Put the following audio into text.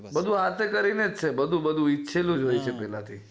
બધું હાથે કરી ને જ છે બધું બધું ઈચ્છેલું જ હોય છે પેલા થી